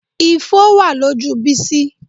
Ifo ló wà lójú Bísí